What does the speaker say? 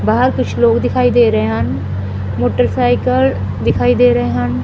ਬਾਹਰ ਕੁਝ ਲੋਕ ਦਿਖਾਈ ਦੇ ਰਹੇ ਹਨ ਮੋਟਰਸਾਈਕਲ ਦਿਖਾਈ ਦੇ ਰਹੇ ਹਨ।